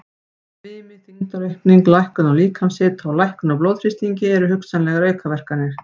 Svimi, þyngdaraukning, lækkun á líkamshita og lækkun á blóðþrýstingi eru hugsanlegar aukaverkanir.